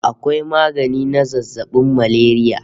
Akwai magani na zazzabin malaria